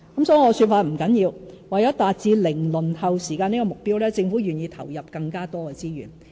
甚麼說法不打緊，為了達致"零輪候"時間的目標，政府願意投入更多資源。